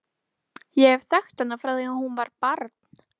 Ég hef þekkt hana frá því að hún var barn.